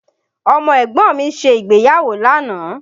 Ọmọ ẹ̀gbọ́n mi ṣe ìgbéyàwó lánàá